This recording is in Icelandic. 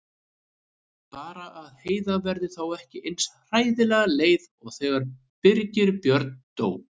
Bara að Heiða verði þá ekki eins hræðilega leið og þegar Birgir Björn dó.